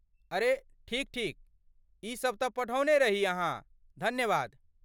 अरे, ठीक ठीक। ई सब तँ पढ़ौने रही अहाँ। धन्यवाद।